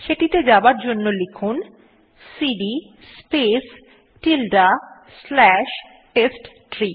সেটিতে যাবার জন্য লিখুন cd space tilde slash test tree